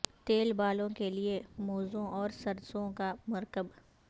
تیل بالوں کے لئے موزوں اور سرسوں کا مرکب